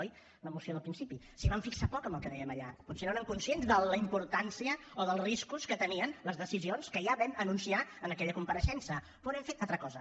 oi l’emoció del principi s’hi van fixar poc en el que dèiem allà potser no eren conscients de la importància o dels riscos que tenien les decisions que ja vam anunciar en aquella compareixença però no hem fet altra cosa